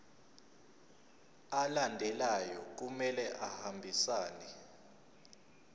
alandelayo kumele ahambisane